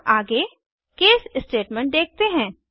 अब आगे case statement देखते हैं